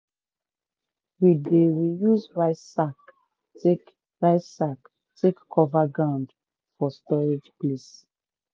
we dey reuse rice sack take rice sack take cover ground for storage place.